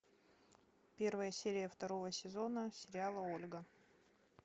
первая серия второго сезона сериала ольга